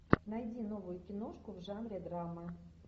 найди новую киношку в жанре драма